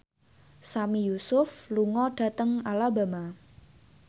Sami Yusuf lunga dhateng Alabama